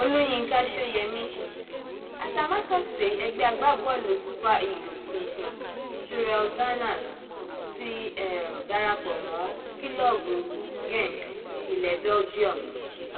olùyinka sóyemí atamátàsé ẹgbẹ agbábọọlù super eagles tuntun cyriel danners ti um darapọ mọ kílọọbù genk ilẹ belgium